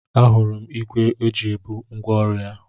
A hụrụ m igbé ọ ji ebu ngwa ọrụ ya.